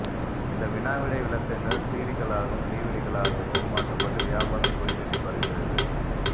இந்த வினாவிடை விளக்கங்கள் சிடிக்களாகவும் டிவிடிக்களாகவும் மாற்றப்பட்டு வியாபாரம் கொடிகட்டிப் பறக்கிறது